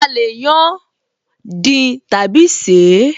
A lè yán, dín tàbí ṣeé